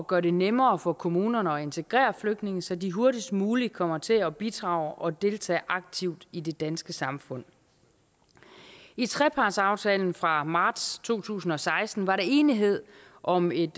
gøre det nemmere for kommunerne at integrere flygtninge så de hurtigst muligt kommer til at bidrage og deltage aktivt i det danske samfund i trepartsaftalen fra marts to tusind og seksten var der enighed om et